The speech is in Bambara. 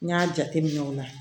N y'a jateminɛ o la